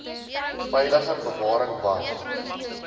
veilige bewaring want